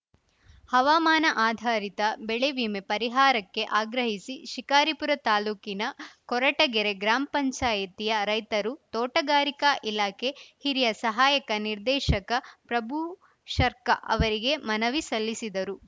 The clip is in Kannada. ಹವಾಮಾನ ಅಧಾರಿತ ಬೆಳೆ ವಿಮೆ ಪರಿಹಾರಕ್ಕೆ ಆಗ್ರಹಿಸಿ ಶಿಕಾರಿಪುರ ತಾಲೂಕಿನ ಕೊರಟಗೆರೆ ಗ್ರಾಮ್ ಪಂಚಾಯತಿಯ ರೈತರು ತೋಟಗಾರಿಕಾ ಇಲಾಖೆ ಹಿರಿಯ ಸಹಾಯಕ ನಿರ್ದೇಶಕ ಪ್ರಭುಶರ್ಕಾ ಅವರಿಗೆ ಮನವಿ ಸಲ್ಲಿಸಿದರು